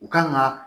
U kan ga